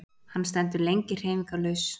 Hann stendur lengi hreyfingarlaus.